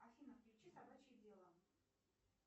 афина включи собачье дело